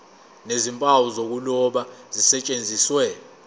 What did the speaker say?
nezimpawu zokuloba zisetshenziswe